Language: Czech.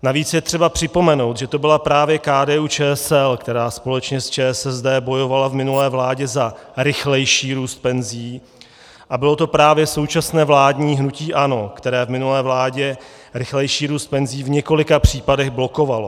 Navíc je třeba připomenout, že to byla právě KDU-ČSL, která společně s ČSSD bojovala v minulé vládě za rychlejší růst penzí, a bylo to právě současné vládní hnutí ANO, které v minulé vládě rychlejší růst penzí v několika případech blokovalo.